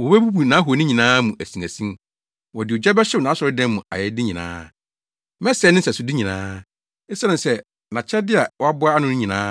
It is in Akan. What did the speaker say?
Wobebubu nʼahoni nyinaa mu asinasin; wɔde ogya bɛhyew nʼasɔredan mu ayɛyɛde nyinaa. Mɛsɛe ne nsɛsode nyinaa. Esiane sɛ nʼakyɛde a waboa ano no nyinaa,